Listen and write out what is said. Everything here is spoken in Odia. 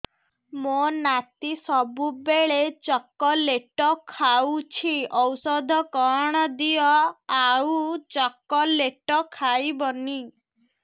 ମୋ ନାତି ସବୁବେଳେ ଚକଲେଟ ଖାଉଛି ଔଷଧ କଣ ଦିଅ ଆଉ ଚକଲେଟ ଖାଇବନି